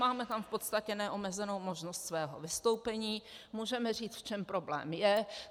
Máme tam v podstatě neomezenou možnost svého vystoupení, můžeme říct, v čem problém je.